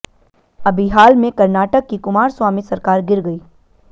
अभी हाल में कर्नाटक की कुमारस्वामी सरकार गिर गई